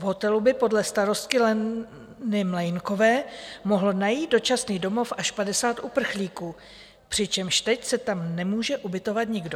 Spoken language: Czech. V hotelu by podle starostky Leny Mlejnkové mohlo najít dočasný domov až 50 uprchlíků, přičemž teď se tam nemůže ubytovat nikdo.